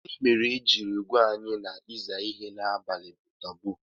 Gini mere i jiri gwa anyi na iza ihe n'abali bu taboo?